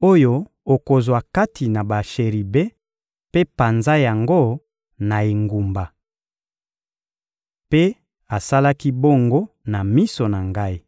oyo okozwa kati na basheribe mpe panza yango na engumba.» Mpe asalaki bongo na miso na ngai.